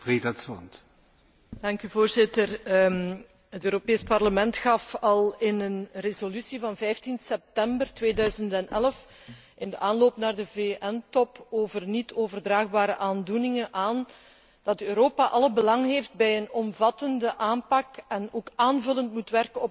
Het Europees Parlement gaf al in een resolutie van 15 september 2011, in de aanloop naar de VN top over niet overdraagbare aandoeningen, aan dat Europa alle belang heeft bij een omvattende aanpak en ook aanvullend moet werken op het beleid van de bevoegde overheden in de lidstaten.